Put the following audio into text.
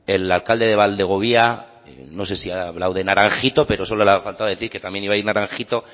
el alcalde de valdegovía no sé si ha hablado de naranjito pero solo le ha faltado decir que también iba a ir naranjito